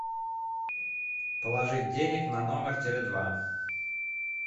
положить денег на номер теле два